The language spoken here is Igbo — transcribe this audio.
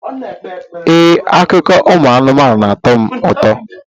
Ee, akụkọ ụmụ anụmanụ na-atọ m ụtọ.